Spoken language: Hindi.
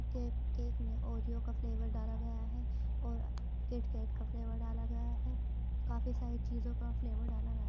केक केक में औरियो का फ्लेवर डाला गया है और किटकैट का फ्लेवर डाला गया है। काफी सारी चीजों का फ्लेवर डाला गया --